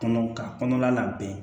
Kɔnɔ ka kɔnɔla bɛn